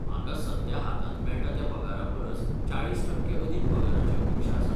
म्हाका सद्या हातांत मेळटा त्या पगारा परस चाळीस टक्के अदीक पगाराची अपेक्षा आसा.